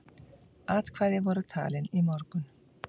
Atkvæði voru talin í morgun.